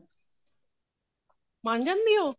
ਮੰਨ ਜਾਂਦੀ ਹੈ ਉਹ